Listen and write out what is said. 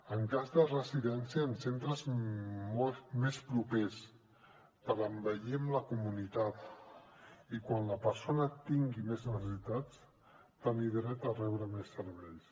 en cas de residència en centres molts més propers per envellir amb la comunitat i quan la persona tingui més necessitats tenir dret a rebre més serveis